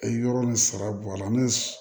Yɔrɔ ni sara bɔ a la ni